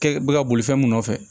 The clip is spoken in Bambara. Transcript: Kɛ bɛ ka boli fɛn mun nɔfɛ